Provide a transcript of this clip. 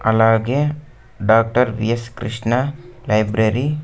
అలాగే doctor S Krishna library --